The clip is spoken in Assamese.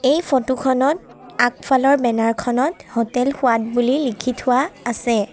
এই ফটো খনত আগফালৰ বেনাৰ খনত হোটেল সোৱাদ বুলি লিখি থোৱা আছে।